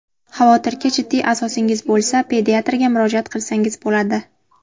Xavotirga jiddiy asosingiz bo‘lsa pediatrga murojaat qilsangiz bo‘ladi.